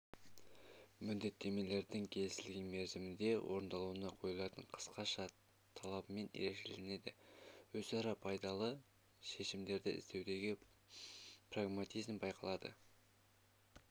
міндеттемелердің келісілген мерзімде орындауына қойылатын қысқаша талабымен ерекшеленеді өзара пайдалы шешімдерді іздеудегі прагматизм байқалады